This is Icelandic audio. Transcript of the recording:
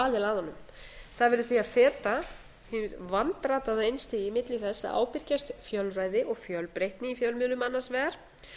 aðila að honum það verður því að feta hið vandrataða einstigi milli þess að ábyrgjast fjölræði og fjölbreytni í fjölmiðlun annars vegar